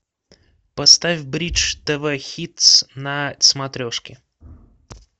поставь бридж тв хитс на смотрешке